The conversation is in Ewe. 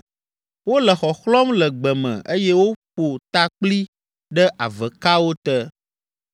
Wole xɔxlɔ̃m le gbe me eye woƒo ta kpli ɖe avekawo te.